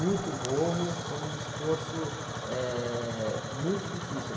Muito morro, foi um esforço, eh, muito difícil.